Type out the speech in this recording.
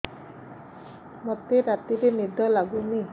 ମୋତେ ରାତିରେ ନିଦ ଲାଗୁନି